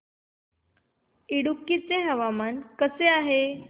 इडुक्की चे हवामान कसे आहे